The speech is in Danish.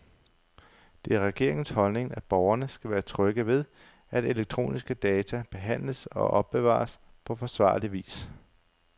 Det er regeringens holdning, at borgerne skal være trygge ved, at elektroniske data behandles og opbevares på forsvarlig vis.